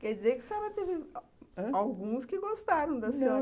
Quer dizer que a senhora teve, alguns que gostaram da senhora... Não...